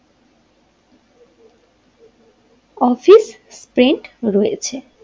Office স্প্রেন্ট রয়েছে।